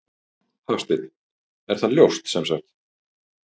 Hafsteinn: Er það ljóst sem sagt?